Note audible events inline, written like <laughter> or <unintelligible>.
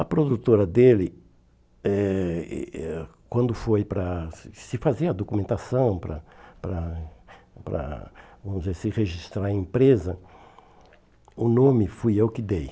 A produtora dele, eh eh eh quando foi para se se fazer a documentação, para para para <unintelligible> se registrar a empresa, o nome fui eu que dei.